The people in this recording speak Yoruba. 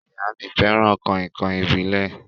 Ìyá mí fẹràn kàìnkàìn ìbílẹ̀.